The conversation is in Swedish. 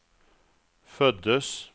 föddes